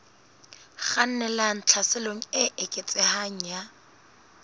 kgannelang tlhaselong e eketsehang ya